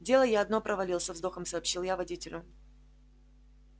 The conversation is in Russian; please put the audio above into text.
дело я одно провалил со вздохом сообщил я водителю